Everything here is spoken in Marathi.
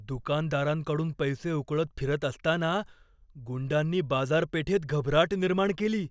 दुकानदारांकडून पैसे उकळत फिरत असताना गुंडांनी बाजारपेठेत घबराट निर्माण केली.